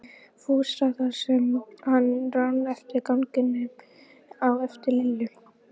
Fúsa þar sem hann rann eftir ganginum á eftir Lillu.